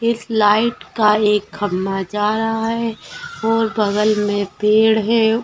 इस लाइट का एक खंभा जा रहा है और बगल में पेड़ है।